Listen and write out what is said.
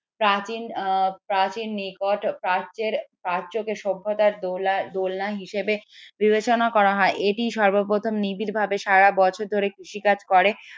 প্রাচীন প্রাচীন নিকট প্রাচ্যের প্রাচ্যকের সভ্যতার দোলা দোলনা হিসেবে বিবেচনা করা হয় এটি সর্বপ্রথম নিবিড়ভাবে সারা বছর ধরে কৃষি কাজ করে